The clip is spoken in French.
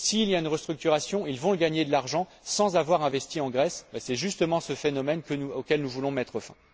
S'il y a une restructuration, ils vont gagner de l'argent sans avoir investi en Grèce, c'est justement ce phénomène auquel nous voulons mettre fin.